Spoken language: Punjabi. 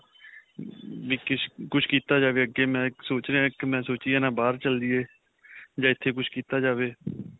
ਵੀ ਕਿਸ, ਕੁੱਝ ਕੀਤਾ ਜਾਵੇਂ ਅੱਗੇ ਮੈਂ ਸੋਚ ਰਿਹਾ ਇੱਕ ਮੈਂ ਸੋਚੀ ਜਾਣਾ ਬਾਹਰ ਚਲਜੀਏ ਜਾਂ ਇਥੇਂ ਕੁੱਝ ਕੀਤਾ ਜਾਵੇ.